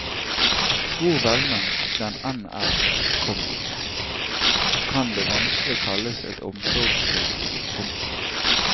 Hvor velment den enn er, komma kan det vanskelig kalles et omsorgstilbud. punktum